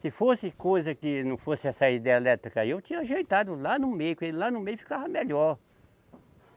Se fosse coisa que não fosse essa hidrelétrica aí, eu tinha ajeitado lá no meio, com ele lá no meio ficava melhor.